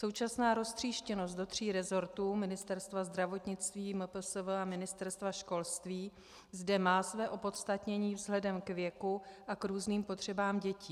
Současná roztříštěnost do tří resortů, Ministerstva zdravotnictví, MPSV a Ministerstva školství, zde má své opodstatnění vzhledem k věku a k různým potřebám dětí.